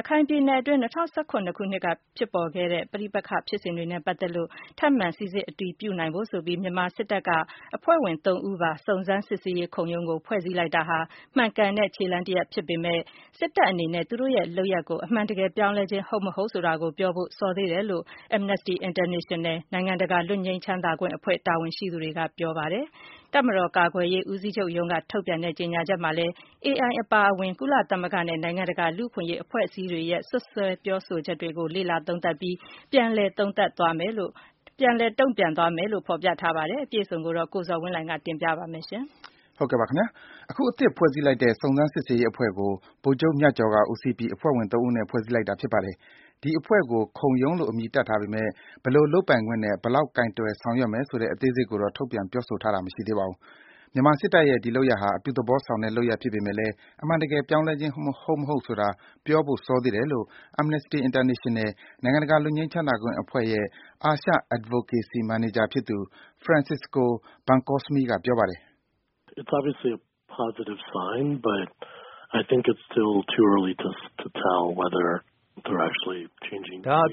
ရခိုင်ပြည်နယ်အတွင်း ၂၀၁၇ ခုနှစ်က ပြစ်ပေါ်ခဲ့တဲ့ ပဋိပက္ခဖြစ်စဉ်တွေနဲ့ ပတ်သက်လို့ ထပ်မံ စီစစ် အတည်ပြုနိုင်ဖို့ဆိုပြီး မြန်မာစစ်တပ်က အဖွဲ့ဝင် ၃ ဦးပါ စုံစမ်း စစ်ဆေးရေးခုံရုံးကို ဖွဲ့စည်းလိုက်တာဟာ မှန်ကန်တဲ့ ခြေလှမ်းတရပ် ဖြစ်ပေမယ့် စစ်တပ်အနေနဲ့ သူတို့ရဲ့ လုပ်ရပ်ကို အမှန်တကယ် ပြောင်းလဲခြင်း ဟုတ်မဟုတ်ဆိုတာ ပြောဖို့ စေသေးတယ်လို့ Amnesty International နိုင်ငံတကာ လွတ်ငြိမ်းချမ်းသာခွင့် အဖွဲ့ တာဝန်ရှိသူတွေက ပြောကြားလိုက်ပါတယ်။ တပ်မတော် ကာကွယ်ရေး ဦးစီးချုပ်ရုံးက ထုန်ပြန်တဲ့ ကြေညာချက်မှာလည်း AI အပါအဝင် ကုလသမဂ္ဂနဲ့ နိုင်ငံတကာ လူ့အခွင့်အရေး အဖွဲ့အစည်းတွေရဲ့ စွပ်စွဲ ပြောဆိုချက်တွေကို လေ့လာ သုံးသပ်ပြီး ပြန်လည် တုန့်ပြန်သွားမယ်လို့ ဖော်ပြထားပါတယ်။ အပြည့်အစုံကိုတော့ ကိုဇော်ဝင်းလှိုင်က တင်ပြပေးပါမယ်။ အခု အသစ် ဖွဲ့စည်းလိုက်တဲ့ စုံစမ်း စစ်ဆေးရေးအဖွဲ့ကို ဗိုလ်ချုပ် မြတ်ကျော်က ဦးစီးပြီး အဖွဲ့ဝင် ၃ ဦးနဲ့ ဖွဲ့စည်းလိုက်တာ ဖြစ်ပါတယ်။ ဒီအဖွဲ့ကို “ခုံရုံး” လို့ အမည်တပ်ထားပေမယ့် ဘယ်လို လုပ်ပိုင်ခွင့်နဲ့ ဘယ်လောက် ကိုင်တွယ် ဆောင်ရွက်မလဲ ဆိုတဲ့ အသေးစိတ်ကိုတော့ ထုတ်ပြန်ပြောဆိုတာ မရှိသေးပါဘူး။ မြန်မာစစ်တပ်ရဲ့ ဒီလုပ်ရပ်ဟာ အပြုသဘောဆောင်တဲ့ လုပ်ရပ်ဖြစ်ပေမယ့်လည်း အမှန်တကယ် ပြောင်းလဲခြင်း ဟုတ်မဟုတ်ဆိုတာ ပြောဖို့ စောသေးတယ်လို့ Amnesty International နိုင်ငံတကာ လွတ်ငြိမ်းချမ်းသာခွင့်အဖွဲ့ရဲ့ အာရှ Advocacy Manager ဖြစ်သူ Francisco Bencosme က ပြောပါတယ်။ “ဒါဟာ အပ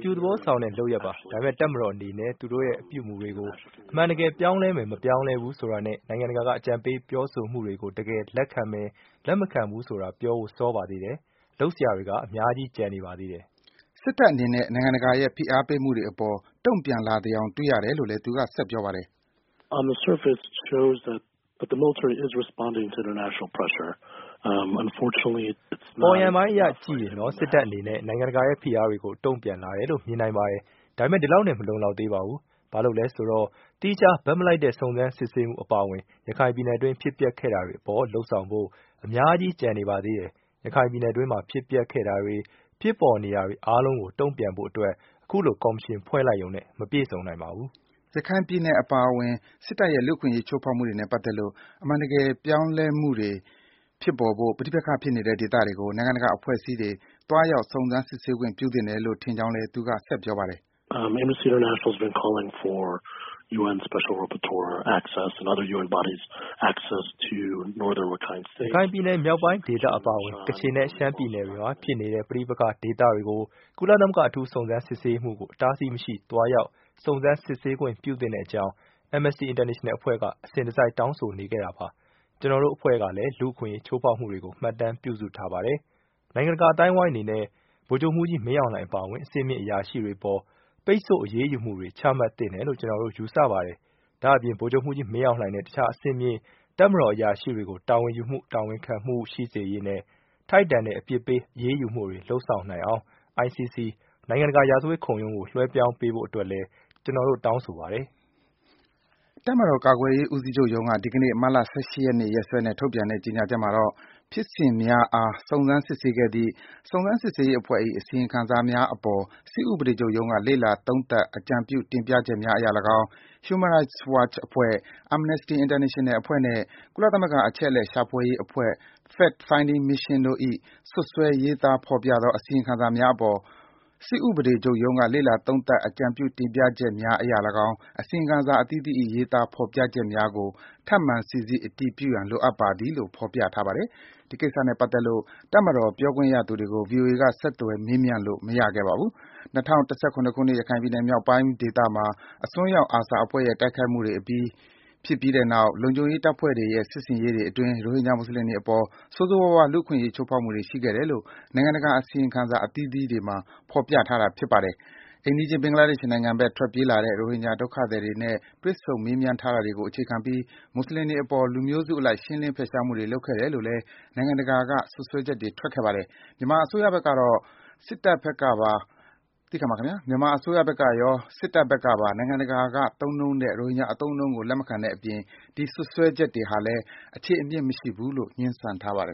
ြုသဘောဆောင်တဲ့ လုပ်ရပ်ပါ။ ဒါပေမယ့် တပ်မတော်အနေနဲ့ သူတို့ရဲ့ အပြုအမူတွေကို အမှန်တကယ် ပြောင်းလဲမယ်၊ မပြောင်းလဲဘူးဆိုတာနဲ့ နိုင်ငံတကာက အကြံပေး ပြောဆိုမှုတွေကို တကယ် လက်ခံမယ်၊ လက်မခံဘူးဆိုတာ ပြောဖို့ စောပါသေးတယ်။ လုပ်စရာတွေက အများကြီး ကျန်နေပါသေးတယ်။” စစ်တပ်အနေနဲ့ နိုင်ငံတကာရဲ့ ဖိအားပေးမှုတွေအပေါ် တုန့်ပြန်လာသယောင် တွေ့ရတယ်လို့လည်း သူက ဆက်ပြောပါတယ်။ “အပေါ်ယံပိုင်းအရ ကြည့်ရင်တော့ စစ်တပ်အနေနဲ့ နိုင်ငံတကာရဲ့ ဖိအားတွေကို တုန့်ပြန်လာတယ်လို့ မြင်နိုင်ပါတယ်။ ဒါပေမယ့် ဒီလောက်နဲ့ မလုံလောက်သေးပါဘူး။ ဘာဖြစ်လို့လဲဆိုတော့ သီးခြား ဘက်မလိုက်တဲ့ စုံစမ်း စစ်ဆေးမှု အပါအဝင် ရခိုင်ပြည်နယ်အတွင်း ဖြစ်ပျက်ခဲ့တာတွေအပေါ် လုပ်ဆောင်ဖို့ အများကြီး ကျန်နေပါသေးတယ်။ ရခိုင်ပြည်နယ်အတွင်းမှာ ဖြစ်ပျက်ခဲ့တာတွေ၊ ဖြစ်ပေါ်နေတာတွေ အားလုံးကို တုန့်ပြန်ဖို့အတွက် အခုလို ကော်မရှင် ဖွဲ့လိုက်ယုံနဲ့ မပြည့်စုံနိုင်ပါဘူး။” ရခိုင်ပြည်နယ်အပါအဝင် စစ်တပ်ရဲ့ လူ့အခွင့်အရေး ချိုးဖောက်မှုတွေနဲ့ ပတ်သက်လို့ အမှန်တကယ် ပြောင်းလဲမှုတွေ ဖြစ်ပေါ်ဖို့ ပဋိပက္ခဖြစ်နေတဲ့ ဒေသတွေကို နိုင်ငံတကာ အဖွဲ့အစည်းတွေ သွားရောက် စုံစမ်း စစ်ဆေးခွင့် ပြုသင့်တယ်လို့ ထင်ကြောင်းလည်း သူက ဆက်ပြောပါတယ်။ “ရခိုင်ပြည်နယ် မြောက်ပိုင်းဒေသ အပါအဝင် ကချင်နဲ့ ရှမ်းပြည်နယ်တွေမှာ ဖြစ်နေတဲ့ ပဋိပက္ခဒေသတွေကို ကုလသမဂ္ဂ အထူးစုံစမ်း စစ်ဆေးရေးမှူးကို အတားအဆီးမရှိ သွားရောက် စုံစမ်း စစ်ဆေးခွင့် ပြုသင့်တဲ့အကြောင်း Amnesty International အဖွဲ့က အစဉ်တစိုက် တောင်းဆိုနေခဲ့တာပါ။ ကျနော်တို့အဖွဲ့ကလည်း လူ့အခွင့်အရေး ချိုးဖောက်မှုတွေကို မှတ်တမ်း ပြုစုထားပါတယ်။ နိုင်ငံတကာ အသိုင်းဝိုင်းအနေနဲ့ ဗိုလ်ချုပ်မှူးကြီး မင်းအောင်လှိုင် အပါအဝင် အဆင့်မြင့် အရာရှိတွေအပေါ် ပိတ်ဆို့အရေးယူမှုတွေ ချမှတ်သင့်တယ်လို့ ကျနော်တို့ ယူဆပါတယ်။ ဒါ့အပြင် ဗိုလ်ချုပ်မှူးကြီး မင်းအောင်လှိုင်နဲ့ တခြား အဆင့်မြင့် တပ်မတော် အရာရှိတွေကို တာဝန်ယူမှု၊ တာဝန်ခံမှု ရှိစေရေးနဲ့ ထိုက်တန်တဲ့ အပြစ်ပေး အရေးယူမှုတွေ လုပ်ဆောင်နိုင်အောင် ICC နိုင်ငံတကာ ရာဇဝတ်ခုံရုံးကို လွဲပြောင်းပေးဖို့အတွက်လည်း ကျနော်တို့ တောင်းဆိုပါတယ်။” တပ်မတော် ကာကွယ်ရေး ဦးစီးချုပ်ရုံးက ဒီကနေ့ မတ်လ ၁၈ ရက်နေ့ ရက်စွဲနဲ့ ထုတ်ပြန်တဲ့ ကြေညာချက်မှာတော့ “ဖြစ်စဉ်များအား စုံစမ်းစစ်ဆေးခဲ့သည့် စုံစမ်း စစ်ဆေးရေးအဖွဲ့၏ အစီရင်ခံစာများအပေါ် စစ်ဥပဒေချုပ်ရုံးက လေ့လာ သုံးသပ် အကြံပြု တင်ပြချက်များအရ လည်းကောင်း၊ Human Rights Watch အဖွဲ့၊ Amnesty International အဖွဲ့နှင့် ကုလသမဂ္ဂ အချက်အလက် ရှာဖွေရေး အဖွဲ့Fact Finding Mission တို့၏ စွပ်စွဲရေးသား ဖော်ပြသော အစီရင်ခံစာများအပေါ် စစ်ဥပဒေချုပ်ရုံးက လေ့လာ သုံးသပ် အကြံပြု တင်ပြချက်များ အရလည်းကောင်း အစီရင်ခံစာ အသီးသီး၏ ရေးသား ဖော်ပြချက်များကို ထပ်မံ စီစစ် အတည်ပြုရန် လိုအပ်ပါသည်။” လို့ ဖော်ပြထားပါတယ်။ ဒီကိစ္စနဲ့ ပတ်သက်လို့ တပ်မတော် ပြောခွင့်ရသူတွေကို ဗွီအိုအေက ဆက်သွယ် မေးမြန်းလို့ မရခဲ့ပါဘူး။ ၂၀၁၇ ခုနှစ်က ရခိုင်မြောက်ပိုင်းဒေသမှာ အစွန်းရောက် ARSA အဖွဲ့ရဲ့တိုက်ခိုက်မှုတွေ ဖြစ်ပြီးနောက် လုံခြုံရေးတပ်ဖွဲ့တွေရဲ့ စစ်ဆင်ရေးတွေ အတွင်း၊ ရိုဟင်ဂျာ မွတ်ဆလင်တွေအပေါ် ဆိုးဆိုးဝါးဝါး လူ့အခွင့်အရေး ချိုးဖောက်မှုတွေ ရှိခဲ့တယ်လို့ နိုင်ငံတကာ အစီရင်ခံစာ အသီးသီးမှာ ဖော်ပြထားတာပါ။ အိမ်နီးချင်း ဘင်္ဂလားဒေ့ရ်ှနိုင်ငံဘက် ထွက်ပြေးလာတဲ့ ရိုဟင်ဂျာ ဒုက္ခသည်တွေနဲ့ တွေ့ဆုံ မေးမြန်းထားတာတွေကို အခြေခံပြီး၊ မွတ်ဆလင်တွေအပေါ် လူမျိုးစုအလိုက် ရှင်းလင်းဖယ်ရှားမှုတွေ လုပ်ခဲ့တယ်လို့လည်း နိုင်ငံတကာ စွပ်စွဲချက်တွေ ထွက်ခဲ့ပါတယ်။ မြန်မာ အစိုးရဘက်ကရော စစ်တပ်ဘက်ကပါ နိုင်ငံတကာ သုံးနှုန်းတဲ့ ရိုဟင်ဂျာ အသုံးအနှုန်းကို လက်မခံတဲ့အပြင်၊ ဒီ စွပ်စွဲချက်တွေဟာလည်း အခြေအမြစ် မရှိဘူးလို့ ငြင်းဆန်ထားပါတယ်